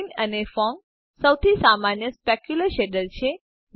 બ્લિન અને ફોંગ સૌથી સામાન્ય સ્પેક્યુલ્ર ર શેડર છે